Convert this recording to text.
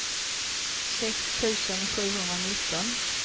sex tusen sjuhundranitton